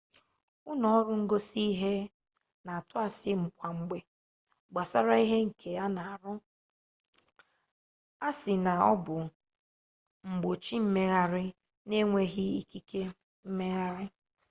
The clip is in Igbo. ụlọ ọrụ ngosi ihe na-atụ asị kwa mgbe gbasara ihe nke a na-arụ na-asị na ọ bụ igbochi mmegharị n'enweghi ikike mmegharị